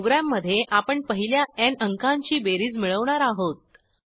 प्रोग्रॅममधे आपण पहिल्या न् अंकांची बेरीज मिळवणार आहोत